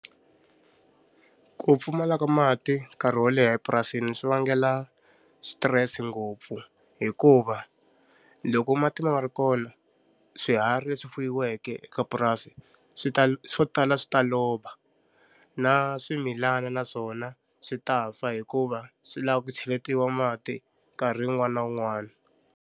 Ku pfumala ka mati nkarhi wo leha epurasini swi vangela switirese ngopfu hikuva, loko mati ma nga ri kona swiharhi leswi fuyiweke eka purasi swi ta swo tala swi ta lova. Na swimilana na swona swi ta fa hikuva swi lava ku cheletiwa mati nkarhi wun'wana na wun'wana.